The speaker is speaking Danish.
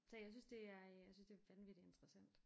Så jeg synes det er øh jeg synes det er vanvittigt interessant